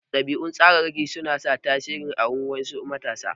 Ɗabi'un tsararraki su na tasiri a wurin wasu matasa.